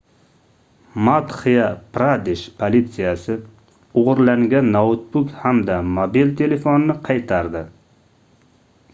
madxya-pradesh politsiyasi oʻgʻirlangan noutbuk hamda mobil telefonni qaytardi